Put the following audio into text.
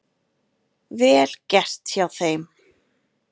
Vel gert hjá þeim.